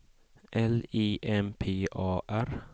L I M P A R